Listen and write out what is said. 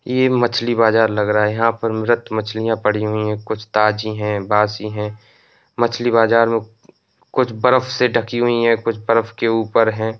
ये मछली बाजार लग रहा है। यहाँ पर मृत मछलियाँ पड़ी हुई हैं। कुछ ताजी हैं बासी हैं। मछली बाजार में कुछ बर्फ़ से ढकी हुई हैं। कुछ बरफ के ऊपर हैं।